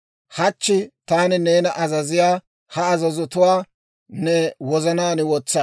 Hachche taani neena azaziyaa ha azazotuwaa ne wozanaan wotsa.